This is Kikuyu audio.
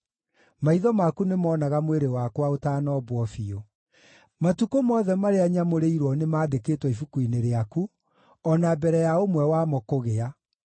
maitho maku nĩmonaga mwĩrĩ wakwa ũtanombwo biũ. Matukũ mothe marĩa nyamũrĩirwo nĩmandĩkĩtwo ibuku-inĩ rĩaku o na mbere ya ũmwe wamo kũgĩa.